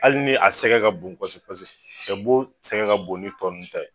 Ali ni a sɛgɛ ka bon pase paseke sɛ bo sɛgɛ ka bon ni tɔ nunnu ta ye